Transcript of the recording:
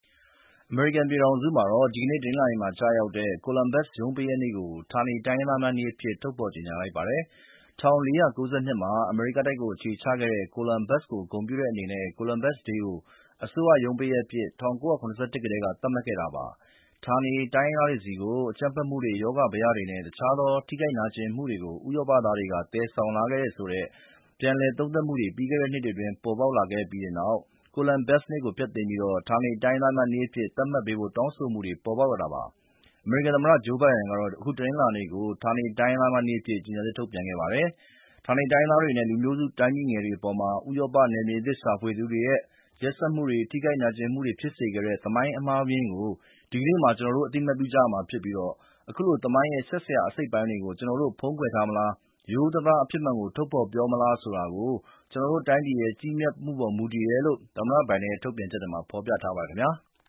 အမေရိကန်ပြည်ထောင်စုမှာ ဒီနေ့ကျရောက်တဲ့ Columbus ရုံးပိတ်ရက်နေ့ကို ဌာနေတိုင်းရင်းသားများနေ့အဖြစ် ထုတ်ဖော်ကြေညာလိုက်ပါပြီ။ ၁၄၉၂ မှာ အမေရိကတိုက်မှာအခြေချခဲ့တဲ့ ကိုလန်ဘတ်စ်ကို ဂုဏ်ပြုတဲ့အနေနဲ့ Columbus Day ကို အစိုးရရုံးပိတ်ရက်အဖြစ် ၁၉၇၁ ခုနှစ်ကတည်းက သတ်မှတ်ခဲ့တာပါ။ ဌာနေတိုင်းရင်းသားတွေဆီကို အကြမ်းဖက်မှုတွေ၊ ရောဂါဘယတွေနဲ့တခြားသော ထိခိုက်နာကျင်မှုတွေကို ဥရောပ သားတွေက သယ်ဆောင်လာခဲ့တယ်ဆိုပြီး ပြန်လည်သုံးသပ်မှုတွေ ပြီးခဲ့နှစ်တွေအတွင်းပေါ်ပေါက်လာခဲ့ပြီးနောက် Columbus နေ့ကို ဖျက်သိမ်းပြီး ဌာနေတိုင်းရင်းသားများနေ့အဖြစ် သတ်မှတ်ပေးဖို့တောင်းဆိုမှုတွေ ဖြစ်ပေါ်လာတာပါ။ အမေရိကန်သမ္မတ ဂျိူးဘိုင်ဒန်က အခု တနင်္လာနေ့ကို ဌာနေတိုင်းရင်းသားများနေ့အဖြစ် ကြေညာချက်ထုတ်ပြန်ခဲ့ပါတယ်။ ဌာနေတိုင်းရင်းသားတွေနဲ့လူမျိုးစုတိုင်းပြည်ငယ်တွေအပေါ် ဥရောပနယ်မြေသစ်ရှာသူတွေရဲ့ ရက်စက်မှုတွေနဲ့ ထိခိုက် နာကျင်မှုတွေဖြစ်စေခဲ့တဲ့ သမိုင်းအမှားအယွင်းကို ဒီနေ့မှာ ကျနော်တို့အသိအမှတ်ပြုကြရမှာဖြစ်ပြီး အခုလို သမိုင်းရဲ့ ရှက်စရာအစိတ်အပိုင်းတွေကိုကျနော်တို့ဖုံးကွယ်ထားမလား၊ ရိုးရိုးသားသား အဖြစ်မှန်ကိုထုတ်ဖော်ပြောမလားဆိုတာ ကျနော်တို့တိုင်းပြည်ရဲ့ ကြီးမြတ်မှုပေါ်မူတယ်တယ်လို့ သမ္မတဘိုင်ဒန်ရဲ့ ထုတ်ပြန်ချက်မှာ ဖော်ပြထားပါတယ်ခင်ဗျာ။